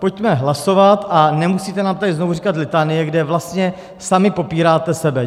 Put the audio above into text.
Pojďme hlasovat a nemusíte nám tady znovu říkat litanie, kde vlastně sami popíráte sebe.